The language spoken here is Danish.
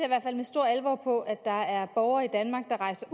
hvert fald med stor alvor på at der er borgere i danmark der rejser